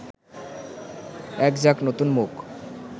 এক ঝাঁক নতুন মুখ